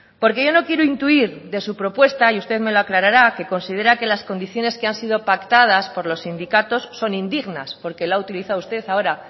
porque yo no quiero intuir de su propuesta y usted me lo aclarará que considera que las condiciones que han sido pactadas por los sindicatos son indignas porque lo ha utilizado usted ahora